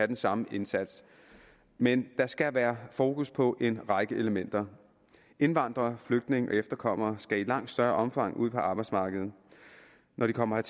den samme indsats men der skal være fokus på en række elementer indvandrere flygtninge og efterkommere skal i langt større omfang ud på arbejdsmarkedet når de kommer